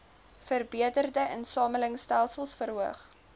verbeterde insamelingstelsels verhoog